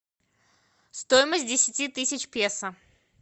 стоимость десяти тысяч песо